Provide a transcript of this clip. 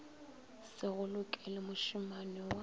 se go lokele mošemane wa